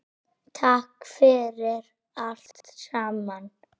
Takk fyrir allt saman.